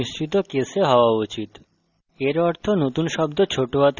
মেথডের name মিশ্রিত case হওয়া উচিত